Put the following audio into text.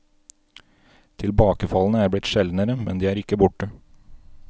Tilbakefallene er blitt sjeldnere, men de er ikke borte.